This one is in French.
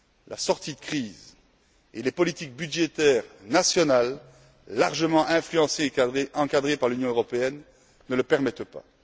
La sortie de crise et les politiques budgétaires nationales, largement influencées et encadrées par l'Union européenne, ne le permettent